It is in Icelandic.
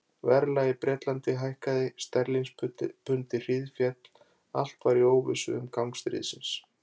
Verðlag í Bretlandi hækkaði, sterlingspundið hríðféll, allt var í óvissu um gang stríðsins.